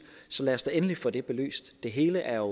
lad os da endelig få det belyst det hele er